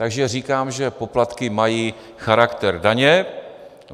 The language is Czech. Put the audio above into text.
Takže říkám, že poplatky mají charakter daně.